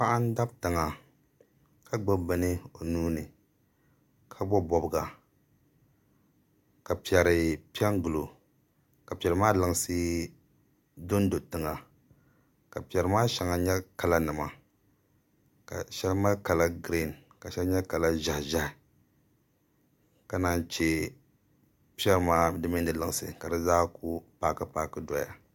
Paɣa n dabi tiŋa ka gbubi bini o nuuni ka bobi bobga ka piɛri piɛ n gilo ka piɛri maa lunsi dondo tiŋa ka piɛri maa shɛŋa nyɛ kala nima ka shɛli mali kala giriin ka shɛli nyɛ kala ʒiɛhi ʒiɛhi ka naan chɛ piɛri maa di mini di lunsi ka di zaa ku paaki paaki doya